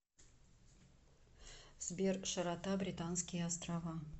сбер широта британские острова